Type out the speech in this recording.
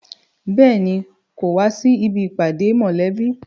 Béèni, kò wá sí ibi ìpàdé mọ̀lẹ́bí